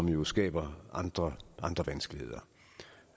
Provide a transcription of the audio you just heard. niveau skaber andre andre vanskeligheder